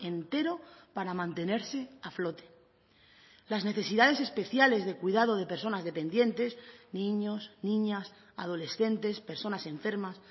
entero para mantenerse a flote las necesidades especiales de cuidado de personas dependientes niños niñas adolescentes personas enfermas